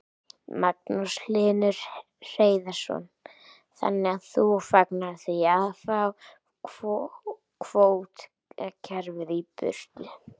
Magnús Hlynur Hreiðarsson: Þannig að þú fagnar því að fá kvótakerfið í burtu?